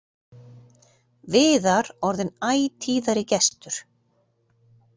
Viðar orðinn æ tíðari gestur.